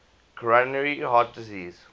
coronary heart disease